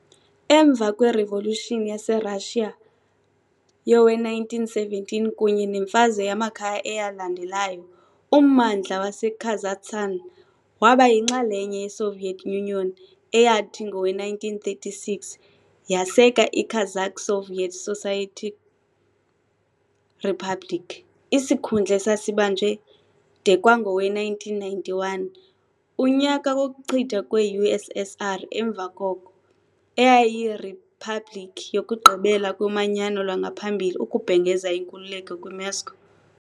Emva kweRevolution yaseRashiya yowe-1917 kunye nemfazwe yamakhaya eyalandelayo, ummandla waseKazakhstan waba yinxalenye yeSoviet Union eyathi, ngowe-1936, yaseka iKazakh Soviet Socialist Republic, isikhundla esasibanjwe de kwangowe-1991, unyaka wokuchithwa kwe-USSR, emva koko. Eyayiyiriphabliki yokugqibela yoManyano lwangaphambili ukubhengeza inkululeko kwiMoscow.